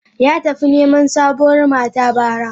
Ya tafi neman sabuwar mata bara.